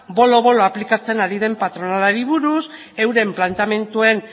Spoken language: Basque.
bolo bolo aplikatzen ari den patronalari buruz euren planteamenduen